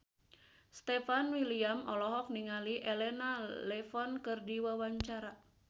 Stefan William olohok ningali Elena Levon keur diwawancara